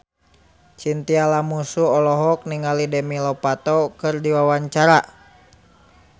Chintya Lamusu olohok ningali Demi Lovato keur diwawancara